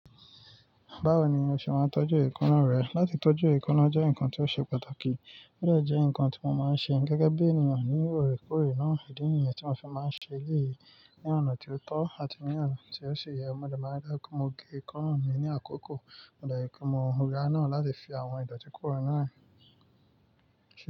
Báwo ni o ṣe máa ń tọ́jú eekanna rẹ? Látí tọ́jú eekanna jẹ́ nǹkan tí ó ṣe pàtàkì, ó dà jẹ́ ǹkan tí mo máa ń ṣe. Gẹ́gẹ́ bí ènìyàn ní ore-kore náà, idi nìyẹn tí mo fi máa ń ṣe léyìí. Ni ọ̀nà tí ó tọ́ àti ní ọ̀nà tí ó ṣe yẹ, mo dẹ̀ máa dára kó mo ge eekanna mi ni àkókò, mo dẹ̀ yẹ kó mo mura náà láti fi àwọn ìdọ̀tí korò náà hàn.